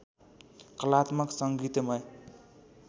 कलात्मक सङ्गीतमय